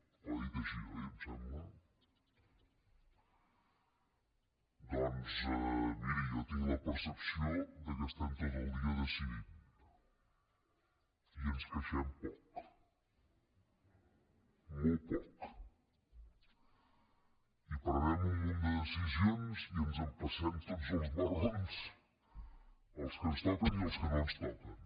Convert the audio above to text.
ho ha dit així oi em sembla doncs miri jo tinc la percepció que tot el dia decidim i ens queixem poc molt poc i prenem un munt de decisions i ens empassem tots els marrons els que ens toquen i els que no ens toquen